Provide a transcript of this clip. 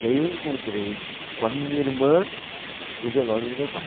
E aí eu encontrei com a minha irmã no velório do meu pai.